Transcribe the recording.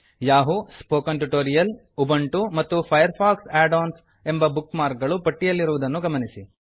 Yahoo spoken tutorial Ubuntu ಮತ್ತು Firefox add ons ಎಂಬ bookmark ಗಳು ಪಟ್ಟಿಯಲ್ಲಿರುವುದನ್ನು ಗಮನಿಸಿ